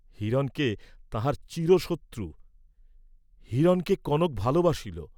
হিরণকে, তাঁহার চিরশত্রু হিরণকে কনক ভালবাসিল!